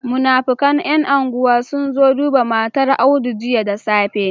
Munafikan yan unguwa sunzo duba matar audu jiya da safe